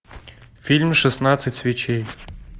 фильм шестнадцать свечей